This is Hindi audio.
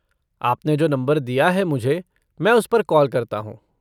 आपने जो नम्बर दिया है मुझे, मैं उसपर कॉल करता हूँ।